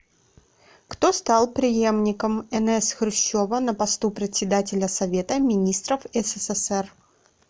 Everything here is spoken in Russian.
кто стал преемником н с хрущева на посту председателя совета министров ссср